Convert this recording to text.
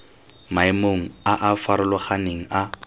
maemong a a farologaneng a